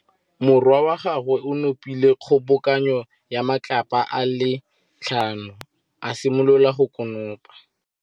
Morwa wa gagwe o nopile kgobokanô ya matlapa a le tlhano, a simolola go konopa.